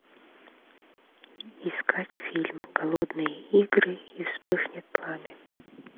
искать фильм голодные игры и вспыхнет пламя